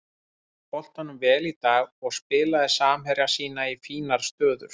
Hélt boltanum vel í dag og spilaði samherja sína í fínar stöður.